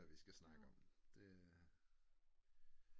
Vi skal snakke om det